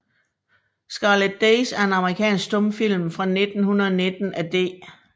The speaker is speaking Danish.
Scarlet Days er en amerikansk stumfilm fra 1919 af D